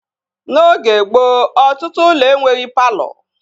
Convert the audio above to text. N'oge gboo, ọtụtụ ụlọ enweghị palọ